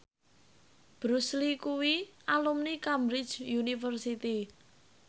Bruce Lee kuwi alumni Cambridge University